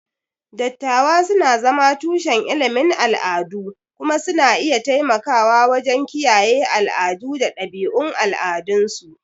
Dattawa suna zama tushen ilimin al'adu kuma suna iya taimakawa wajen kiyaye al'adu da ɗabi'un al'adunsu.